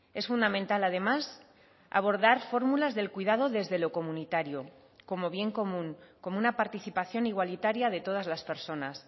es fundamental además abordar fórmulas del cuidado desde lo comunitario como bien común como una participación igualitaria de todas las personas